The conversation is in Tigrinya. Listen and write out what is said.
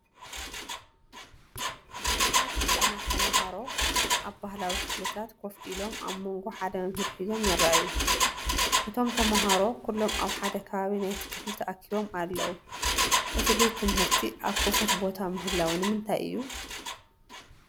ብዙሓት ህፃናት ተማሃሮ ኣብ ባህላዊ ክፍልታት ኮፍ ኢሎም ኣብ መንጎ ሓደ መምህር ሒዞም ይረኣዩ። እቶም ተማሃሮ ኩሎም ኣብ ሓደ ከባቢ ናይቲ ክፍሊ ተኣኪቦም ኣለዉ። እቲ ቤት ትምህርቲ ኣብ ክፉት ቦታ ምህላዉ ንምንታይ አዩ?